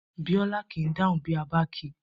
Bíó̩lá kì í dáhún bí a bá kí i